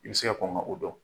I bi se ka kɔn ka o dɔn.